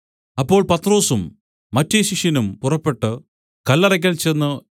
അപ്പോൾ പത്രൊസും മറ്റെ ശിഷ്യനും പുറപ്പെട്ടു കല്ലറയ്ക്കൽ ചെന്ന്